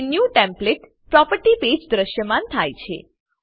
તે new template property page પર દ્રશ્યમાન થાય છે